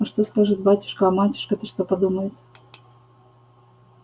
а что скажет батюшка а матушка-то что подумает